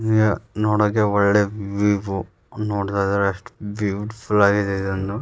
ನೋಡೋಕೆ ಒಳ್ಳೆ ವೀವು ನೋಡ್ತಾ ಇದ್ರೆ ಎಷ್ಟು ಬ್ಯೂಟಿಫುಲ್ ಆಗಿದೆ ಇದನ್ನು --